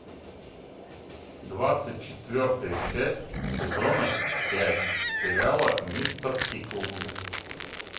двадцать четвертая часть сезона пять сериала мистер пиклз